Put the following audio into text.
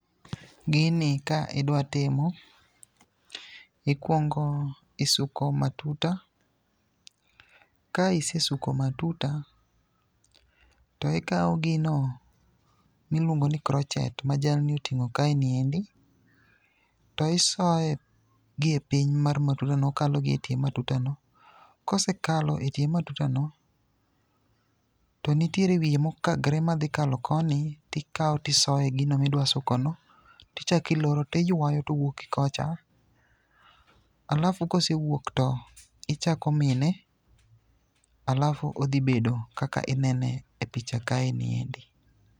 Gini ka idwa timo, ikwongo isuko matuta, ka isesuko matuta to ikawo gino miluongo ni crotchet ma jalni oting'o kaeni endi, to isoye gi e piny mar matutano, okalo gi e tie matutano, kosekalo e tie matutano, to nitiere wiye mokagre madhikalo koni, tikawo tisoye gino midwasukono, tichakiloro tiywayo towuok gi kocha. Alafu kosewuok to ichako miene alafu odhi bedo kaka inene e picha kaendi.